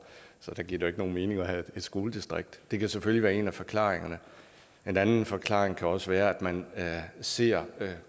så der giver det jo ikke nogen mening at have et skoledistrikt det kan selvfølgelig være en af forklaringerne en anden forklaring kan også være at man ser